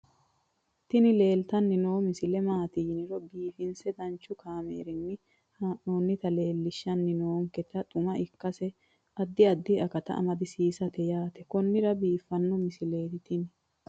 tini leeltanni noo misile maaati yiniro biifinse danchu kaamerinni haa'noonnita leellishshanni nonketi xuma ikkase addi addi akata amadaseeti yaate konnira biiffanno misileeti tini